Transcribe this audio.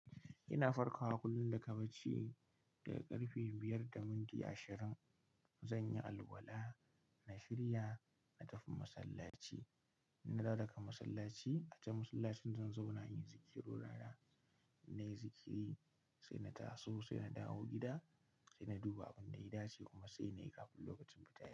Ina farkawa kullum daga bacci, daga ƙarfe biyar da minti ashirin. Zan yi alwala, na shirya, na tafi masallaci, na dawo daga masallaci. A can masallacin zan zauna yin zikira rana. Na yi zikiri, sai na taso, sai na dawo gida, sai na duba abin da ya dace kuma sai na yi kafin lokacin fitar.